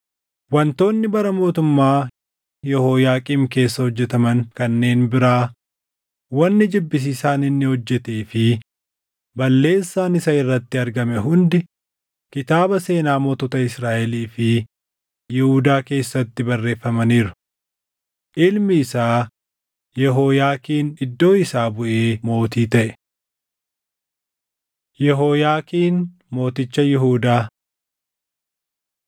Wantoonni bara mootummaa Yehooyaaqiim keessa hojjetaman kanneen biraa, wanni jibbisiisaan inni hojjetee fi balleessaan isa irratti argame hundi kitaaba seenaa mootota Israaʼelii fi Yihuudaa keessatti barreeffamaniiru. Ilmi isaa Yehooyaakiin iddoo isaa buʼee mootii taʼe. Yehooyaakiin Mooticha Yihuudaa 36:9‑10 kwf – 2Mt 24:8‑17